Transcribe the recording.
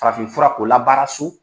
Farafin fura ko labaara so